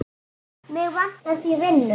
Mig vantar því vinnu.